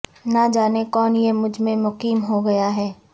نہ جانے کون یہ مجھ میں مقیم ہو گیا ہے